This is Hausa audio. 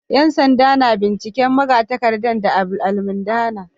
‘Yan sanda na binciken magatakardar da almundahana